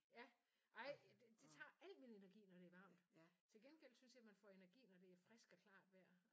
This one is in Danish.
Ja ej det tager al min energi når det er varmt. Til gengæld synes jeg man får energi når det er frisk og klart vejr